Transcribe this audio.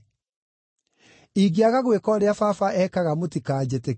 Ingĩaga gwĩka ũrĩa Baba ekaga mũtikanjĩtĩkie.